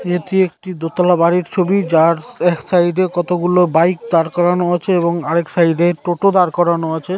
এটি একটি দোতলা বাড়ির ছবিযার এক সাইড এ কতগুলো বাইক দাঁড় করানো আছে এবং আরেক সাইড - এ টোটো দাঁড় করানো আছে।